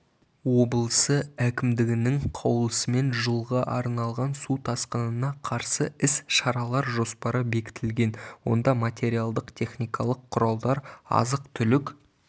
облысы әкімдігінің қаулысымен жылға арналған су тасқынына қарсы іс-шаралар жоспары бекітілген онда материалдық-техникалық құралдар азық-түлік